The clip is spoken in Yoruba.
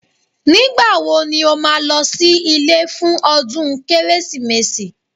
Nígbà wo ni ó máa lọ sí ilé fún ọdún Kérésìmesì